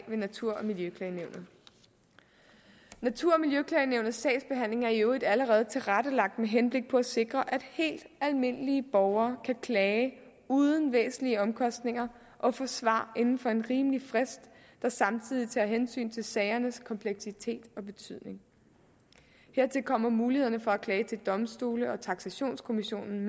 ved natur og miljøklagenævnet natur og miljøklagenævnets sagsbehandling er i øvrigt allerede tilrettelagt med henblik på at sikre at helt almindelige borgere kan klage uden væsentlige omkostninger og få svar inden for en rimelig frist der samtidig tager hensyn til sagernes kompleksitet og betydning hertil kommer mulighederne for at klage til domstolene og taksationskommissionen